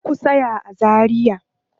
Kar ku tsaya a Zaria.